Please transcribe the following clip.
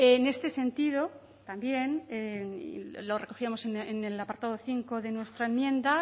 en este sentido también lo recogíamos en el apartado cinco de nuestra enmienda